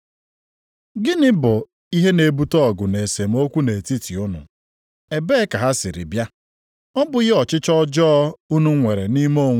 Gịnị bụ ihe na-ebute ọgụ na esemokwu nʼetiti unu. Ebee ka ha siri bịa? Ọ bụghị ọchịchọ ọjọọ unu nwere nʼime onwe unu?